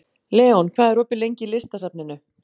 Leon, hvað er opið lengi í Listasafninu?